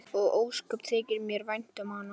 Og ósköp þykir mér vænt um hana.